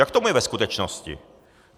Jak tomu je ve skutečnosti?